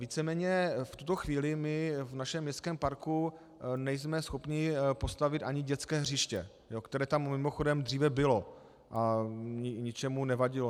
Víceméně v tuto chvíli my v našem městském parku nejsme schopni postavit ani dětské hřiště, které tam mimochodem dříve bylo a ničemu nevadilo.